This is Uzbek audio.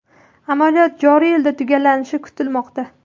Amaliyot joriy yilda tugallanishi kutilmoqda.